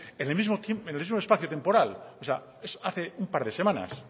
en el mismo espacio temporal o sea hace un par de semanas